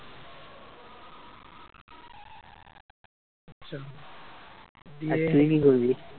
আর তুই কি করবি?